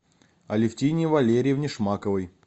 алевтине валерьевне шмаковой